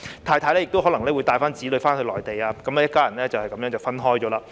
太太亦可能會帶子女返回內地，一家人就這樣分開了。